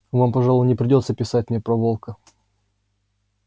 вам пожалуй не придётся писать мне про волка